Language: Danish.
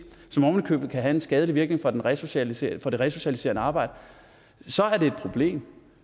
som ovenikøbet kan have en skadelig virkning for det resocialiserende resocialiserende arbejde så er det et problem